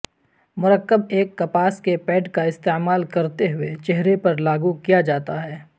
مرکب ایک کپاس کے پیڈ کا استعمال کرتے ہوئے چہرے پر لاگو کیا جاتا ہے